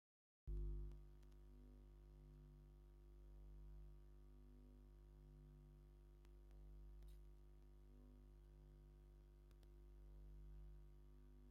ደስታን ዜማን ዝበሃሉ ክልተ ዓይነት ኣረቂ ብሓደ ተር ኢሎም ተቐሚጦም ኣለዉ፡፡ ኣብ ከባቢኹም ካብ ክልቲኦም ኣረቂ መን እዩ ብሉፅ ጠለብ ዘለዎ?